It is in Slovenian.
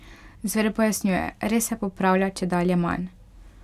Zver pojasnjuje: "Res se popravlja čedalje manj.